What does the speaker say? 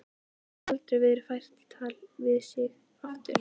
Málið hafi aldrei verið fært í tal við sig aftur.